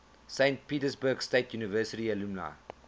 saint petersburg state university alumni